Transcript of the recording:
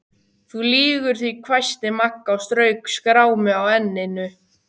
Þú lýgur því hvæsti Magga og strauk skrámu á enninu.